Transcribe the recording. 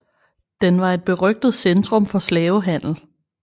Den var et berygtet centrum for slavehandel